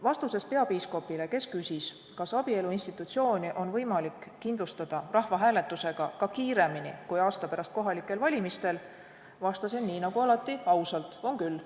Vastuses peapiiskopile, kes küsis, kas abielu institutsiooni on võimalik kindlustada rahvahääletusega ka kiiremini kui aasta pärast kohalikel valimistel, vastasin nii nagu alati ausalt, et on küll.